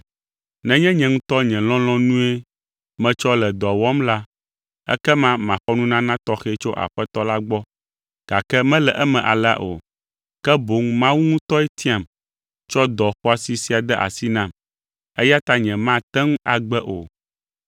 Nenye nye ŋutɔ nye lɔlɔ̃nue metsɔ le dɔa wɔm la, ekema maxɔ nunana tɔxɛ tso Aƒetɔ la gbɔ gake mele eme alea o, ke boŋ Mawu ŋutɔe tiam tsɔ dɔ xɔasi sia de asi nam eya ta nyemate ŋu agbe o.